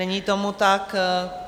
Není tomu tak.